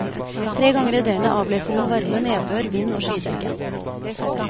Tre ganger i døgnet avleser hun varme, nedbør, vind og skydekke.